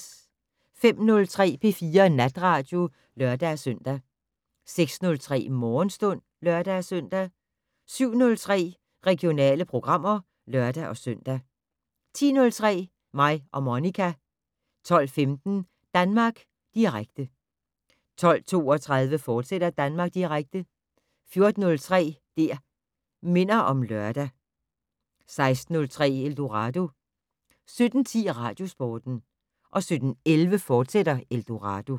05:03: P4 Natradio (lør-søn) 06:03: Morgenstund (lør-søn) 07:03: Regionale programmer (lør-søn) 10:03: Mig og Monica 12:15: Danmark Direkte 12:32: Danmark Direkte, fortsat 14:03: Det' Minder om Lørdag 16:03: Eldorado 17:10: Radiosporten 17:11: Eldorado, fortsat